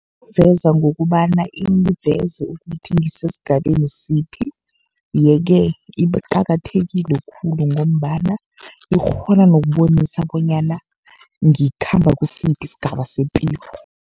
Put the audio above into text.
Ibuveza ngokobana ingiveze ukuthi ngisesigabeni siphi. Ye-ke iqakathekile khulu, ngombana ikghona nokubonisa bonyana ngikhamba kisiphi isigaba sepilo.